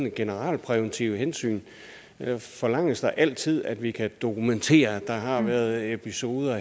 et generalpræventivt hensyn forlanges der altid at vi kan dokumentere at der har været episoder